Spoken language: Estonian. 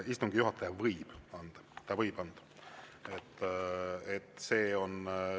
Istungi juhataja võib anda, ta võib anda.